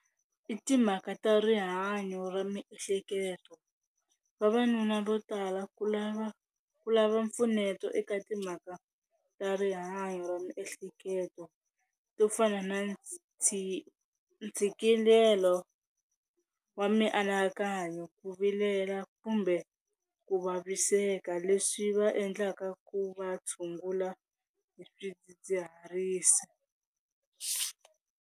I timhaka ta rihanyo ra miehleketo, vavanuna vo tala ku lava ku lava mpfuneto eka timhaka ta rihanyo ra miehleketo to fana na ntshikelelo wa mianakanyo, ku vilela kumbe ku vaviseka leswi va endlaka ku va tshungula hi swidzidziharisi.